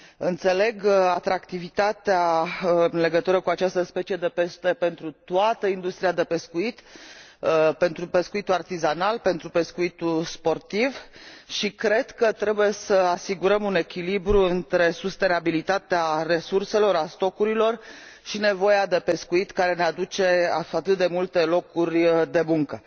Înțeleg atractivitatea acestei specii de pește pentru toată industria de pescuit, pentru pescuitul artizanal, pentru pescuitul sportiv și cred că trebuie să asigurăm un echilibru între sustenabilitatea resurselor, a stocurilor, și nevoia de pescuit, care ne aduce atât de multe locuri de muncă.